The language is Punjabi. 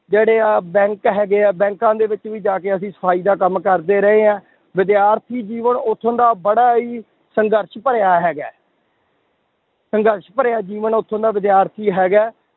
ਜਿਹੜੇ ਆਹ bank ਹੈਗੇ ਆ ਬੈਂਕਾਂ ਦੇ ਵਿੱਚ ਵੀ ਜਾ ਕੇ ਅਸੀਂ ਸਫ਼ਾਈ ਦਾ ਕੰਮ ਕਰਦੇ ਰਹੇ ਆ, ਵਿਦਿਆਰਥੀ ਜੀਵਨ ਉੱਥੋਂ ਦਾ ਬੜਾ ਹੀ ਸੰਘਰਸ਼ ਭਰਿਆ ਹੈਗਾ ਹੈ ਸੰਘਰਸ਼ ਭਰਿਆ ਜੀਵਨ ਉੱਥੋਂ ਦਾ ਵਿਦਿਆਰਥੀ ਹੈਗਾ ਹੈ,